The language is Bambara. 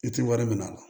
I tɛ wari minɛ a la